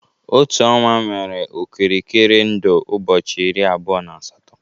Otu ọnwa nwere okirikiri ndụ ụbọchị iri abụọ na asatọ